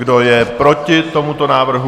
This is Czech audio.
Kdo je proti tomuto návrhu?